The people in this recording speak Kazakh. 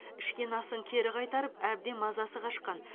ішкен асын кері қайтарып әбден мазасы қашқан